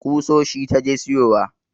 Kusoshi ta je siyowa